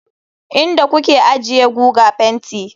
Inda kuke ajiye guga fenti.